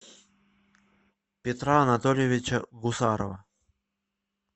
петра анатольевича гусарова